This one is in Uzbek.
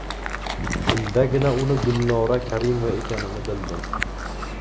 Shundagina uni Gulnora Karimova ekanini bildim.